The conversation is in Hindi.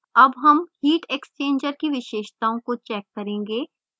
अब हम heat exchanger की विशेषताओं को check करेंगे